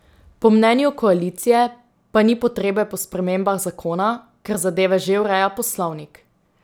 Po mnenju koalicije pa ni potrebe po spremembah zakona, ker zadeve že ureja poslovnik.